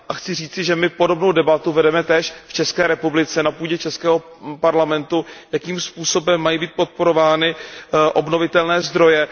Chci říci, že my podobnou debatu vedeme též v České republice, na půdě českého parlamentu, jakým způsobem mají být podporovány obnovitelné zdroje.